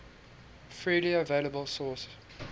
freely available source